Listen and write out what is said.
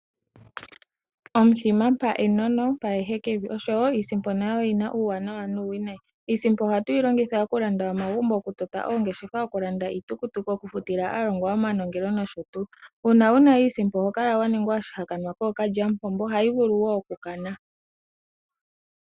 Omuthima mpa enono mpa ehekevi osho woo iisimpo oyina uuwanawa nuuwinayi. Iisimpo ohatu yi longitha okulanda omagumbo okutota oongeshefa, okulanda iitukutuku, okufutila aalongwa yoye omanongelo nosho tuu. Uuna wuna iisimpo oho kala wa ningwa oshihakanwa kookalyamupombo yo ohayi vulu woo okukana.